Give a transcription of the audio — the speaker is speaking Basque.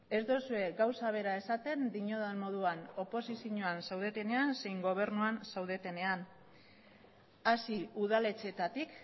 ez duzue gauza bera esaten diodan moduan oposizioan zaudetenean zein gobernuan zaudetenean hasi udaletxeetatik